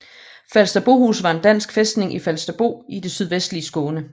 Falsterbohus var en dansk fæstning i Falsterbo i det sydvestlige Skåne